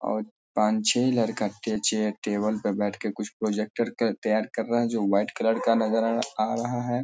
और पांच छे लड़का के चेयर टेबल पे बैठ के कुछ प्रोजेक्टर के तैयार कर रहे हैं जो व्हाइट कलर का नजर अ आ रहा है।